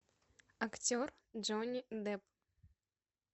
актер джонни депп